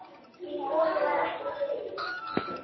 Því boði var ekki tekið.